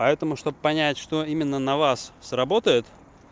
поэтому чтобы понять что именно на вас сработает